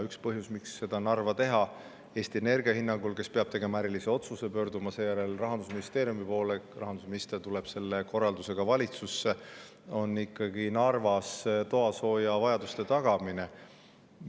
Üks põhjus, miks seda Narva teha Eesti Energia hinnangul, kes peab tegema ärilise otsuse ja pöörduma seejärel Rahandusministeeriumi poole – rahandusminister tuleb selle korraldusega siis valitsusse –, on ikkagi Narvas toasoojavajaduse.